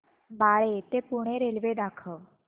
बाळे ते पुणे रेल्वे दाखव